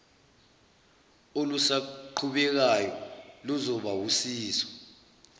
olusaqhubekayo luzoba wusizo